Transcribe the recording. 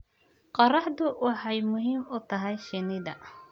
Qorraxdu waxay muhiim u tahay shinnida.